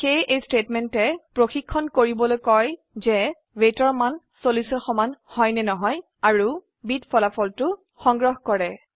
সেয়ে এই স্টেটমেন্টে কয় যে weightৰ মান 40ৰ সমান নহয় আৰু ফলাফলটো b ত সংগ্ৰহ কৰক